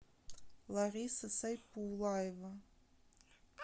лариса сайпулаева